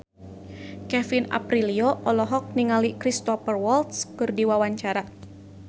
Kevin Aprilio olohok ningali Cristhoper Waltz keur diwawancara